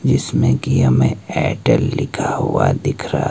ये इसमें कि हमें एयरटेल लिखा हुआ दिख रहा--